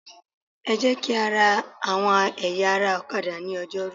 Ẹ jẹ́ kí á ra àwọn ẹ̀yà ara ọ̀kadà ní Ọjọ́rú.